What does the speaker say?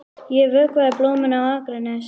Ég vökvaði blómin á Akranesi.